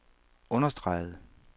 understregede